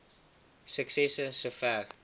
ii suksesse sover